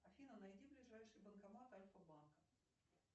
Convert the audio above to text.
афина найди ближайший банкомат альфа банка